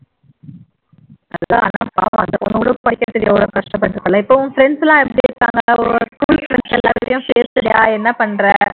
ஆமா அந்த பொண்ணு கூட படிக்கிறதுக்கு ரொம்ப கஷ்டப்பட்டு இருப்பா இல்ல இப்ப உன் friends எல்லாம் எப்படி இருக்காங்க என்ன பண்ற